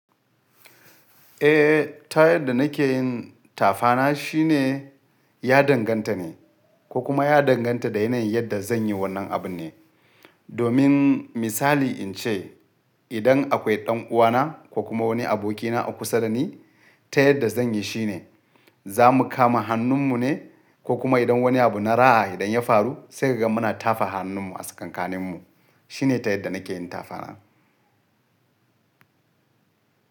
Eh, ta yadda nake yin tafana shine ya danganta ne, ko kuma ya danganta da yanayin yadda zan yi wannan abun ne. Domin misali in ce, idan akwai ɗan uwana ko kuma wani abokina kusa da ni, ta yadda zan yi shine za mu kama hannun mu ne ko kuma idan wani abu na raha idan ya faru sai kaga muna tafa hannun mu a tsakankanin mu. Shi ne ta yadda nake yin tafana.